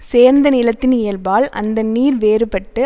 சேர்ந்த நிலத்தின் இயல்பால் அந்த நீர் வேறுபட்டு